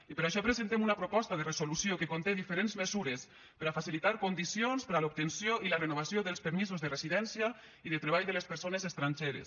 i per això presentem una proposta de resolució que conté diferents mesures per a facilitar condicions per a l’obtenció i la renovació dels permisos de residència i de treball de les persones estrangeres